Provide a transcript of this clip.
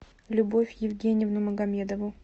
любовь евгеньевну магомедову